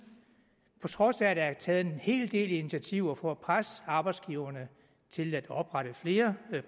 på trods af at der er taget en hel del initiativer for at presse arbejdsgiverne til at oprette flere